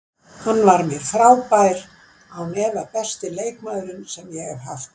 Hann var mér frábær, án efa besti leikmaðurinn sem ég haft.